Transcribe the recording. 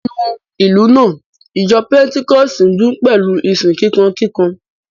Nínú ìlú náà, ìjọ pẹ́ńtíkọ́ọ̀sì ń dún pẹ̀lú ìsìn kíkankíkan